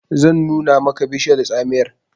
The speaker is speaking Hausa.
zan nuna maka bishiyar tsamiyar!